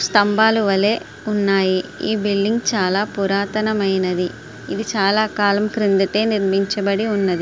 స్తంభాలు వలె ఉన్నాయి. ఈ బిల్డింగ్ చాలా పురాతనమైనది. ఇది చాలా కాలం క్రిందటే నిర్మించబడి ఉన్నది.